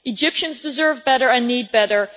Egyptians deserve better and need better.